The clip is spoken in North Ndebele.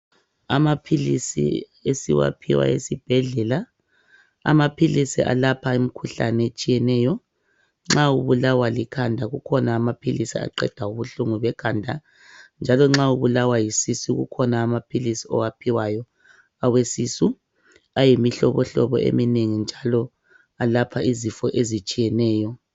Amaphilisi esiwaphiwa esibhedlela. Amaphilisi alapha imikhuhlane etshiyeneyo, nxa ubulawa likhanda kukhona amaphilisi aqeda ubuhlungu bekhanda njalo nxa ubulawa yisisu kukhona amaphilisi owaphiwayo awesisu ayimihlobohlobo eminengi njalo ayelapha izifo ezitshiyeneyo.